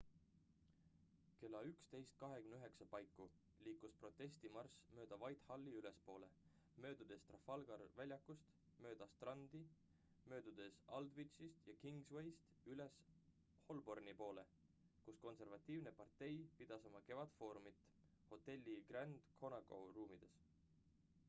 kella 11.29 paiku liikus protestimarss mööda whitehalli ülespoole möödudes trafalgari väljakust mööda strandi möödudes aldwychist ja kingswayst üles holborni poole kus konservatiivne partei pidas oma kevadfoorumit hotelli grand connaught ruumides